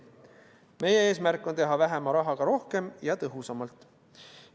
Meie eesmärk on teha vähema rahaga rohkem ja tõhusamalt.